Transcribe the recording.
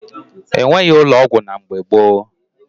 E nweghi ụlọ ọgwụ na mgbe gboo